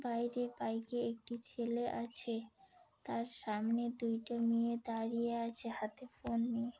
বাইরে বাইকে একটি ছেলে আছে তার সামনে দুইটো মেয়ে দাঁড়িয়ে আছে হাতে ফোন নিয়ে।